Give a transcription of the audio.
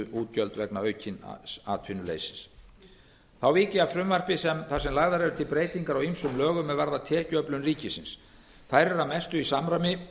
útgjöld vegna aukins atvinnuleysis þá vík ég að frumvarpi þar sem lagðar eru til breytingar á ýmsum lögum er varða tekjuöflun ríkisins þær eru að mestu í samræmi